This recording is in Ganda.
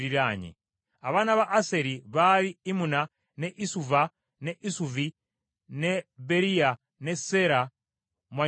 Abaana ba Aseri baali Imuna, ne Isuva, ne Isuvi, ne Beriya, ne Seera mwannyinaabwe.